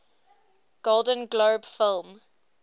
golden globe film